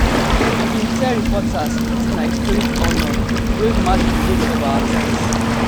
e bin tell reporters dis na historic honour wey match di weight of our times